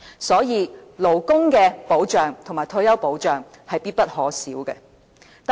所以，勞工保障及退休保障是必不可少的。